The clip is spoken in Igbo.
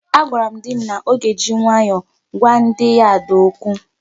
Agwara m di m na ọ ga-eji nwayọọ gwa ndị yad a okwu.